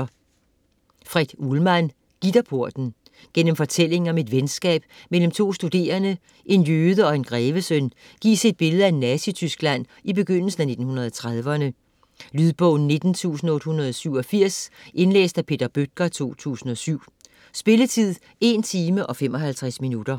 Uhlman, Fred: Gitterporten Gennem fortællingen om et venskab mellem to studerende, en jøde og en grevesøn, gives et billede af Nazi-Tyskland i begyndelsen af 1930'erne. Lydbog 19887 Indlæst af Peter Bøttger, 2007. Spilletid: 1 timer, 55 minutter.